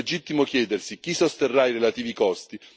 È legittimo chiedersi chi sosterrà i relativi costi?